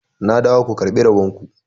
ku dawo ku karɓi rabonku!